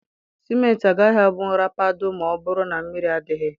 Simenti agaghị abụ nrapado ma ọ bụrụ na mmiri adịghị